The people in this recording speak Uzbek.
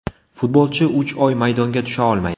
Futbolchi uch oy maydonga tusha olmaydi .